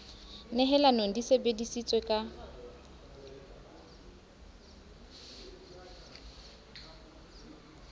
nehelanong di sebe disitswe ka